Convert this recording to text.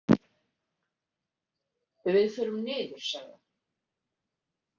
Við förum niður, sagði hann.